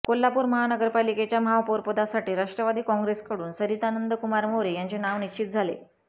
कोल्हापूर महानगरपालिकेच्या महापौरपदासाठी राष्ट्रवादी काँग्रेसकडून सरिता नंदकुमार मोरे यांचे नाव निश्चित झाले